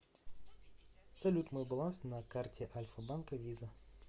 салют мой баланс на карте альфа банка виза